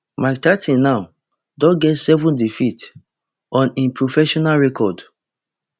mike tyson now don get seven defeats on im professional record